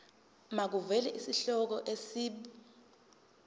makuvele isihloko isib